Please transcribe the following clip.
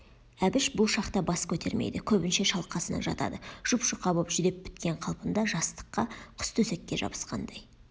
әбіш бұл шақта бас көтермейді көбінше шалқасынан жатады жұп-жұқа боп жүдеп біткен қалпында жастыққа құстөсекке жабысқандай